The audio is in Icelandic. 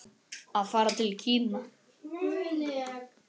Að fara til Kína?